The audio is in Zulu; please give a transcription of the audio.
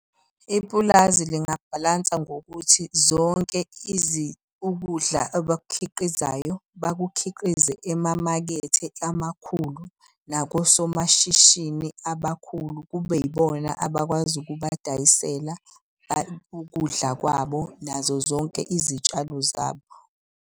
Ipulazi lingabhalansa ngokuthi zonke ukudla abakukhiqizayo, bakukhiqize emamakethe amakhulu nakosomashishini abakhulu. Kube yibona abakwazi ukubadayisela ukudla kwabo nazo zonke izitshalo zabo.